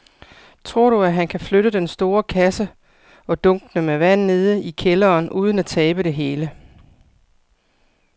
Tror du, at han kan flytte den store kasse og dunkene med vand ned i kælderen uden at tabe det hele?